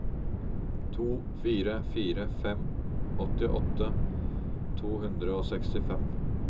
to fire fire fem åttiåtte to hundre og sekstifem